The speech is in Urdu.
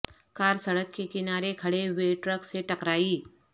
کار سڑک کے کنارے کھڑے ہوئے ٹرک سے ٹکرائی